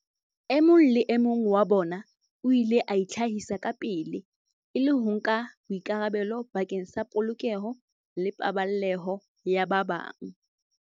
E mong le e mong wa bona o ile a itlhahisa kapele, e le ho nka boikarabelo bakeng sa polokeho le paballeho ya ba bang.